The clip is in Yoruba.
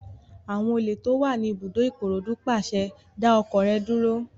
Àwọn olè tó wà ní ibùdókọ̀ Ìkòròdú pàṣẹ, "dá ọkọ̀ rẹ dúró!"